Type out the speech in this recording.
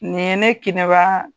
Nin ye ne kɛnɛba